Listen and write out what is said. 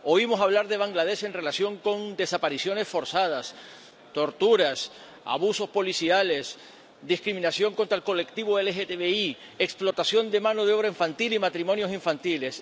Oímos hablar de Bangladés en relación con desapariciones forzadas, torturas, abusos policiales, discriminación contra el colectivo LGTBI, explotación de mano de obra infantil y matrimonios infantiles